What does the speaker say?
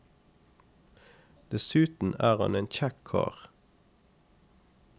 Dessuten er han en kjekk kar.